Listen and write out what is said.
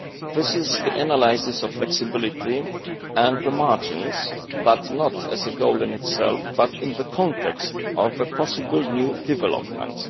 This analyses the flexibility and the margins not as a goal in itself, but in the context of possible new developments.